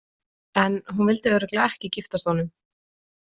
En hún vildi örugglega ekki giftast honum.